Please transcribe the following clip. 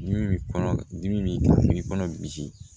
Min kɔnɔ dimi b'i kan min b'i kɔnɔ misi